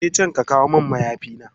Ka je can ka kawo min mayafina.